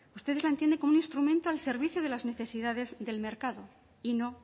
ustedes la entienden como un instrumento al servicio de las necesidades del mercado y no